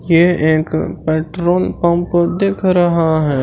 यह एक petrol pump दिख रहा है।